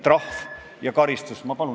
Tervelt 519!